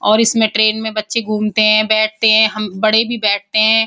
और इसमें ट्रेन में बच्चे घूमते हैं बैठते हैं। हम बड़े भी बैठते हैं।